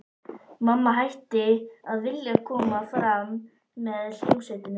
Mamma hætti að vilja koma fram með hljómsveitinni.